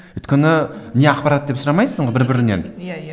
өйткені не ақпарат деп сұрамайсың ғой бір бірінен иә иә